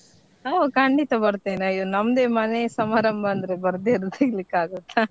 ಹೋ ಖಂಡಿತ ಬರ್ತೇನೆ ಅಯ್ಯೋ ನಮ್ದೆ ಮನೆ ಸಮಾರಂಭ ಅಂದ್ರೆ ಬರ್ದೆ ಇರ್ಲಿಕ್ಕೆ ಆಗುತ್ತಾ .